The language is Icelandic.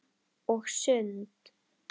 Og sund.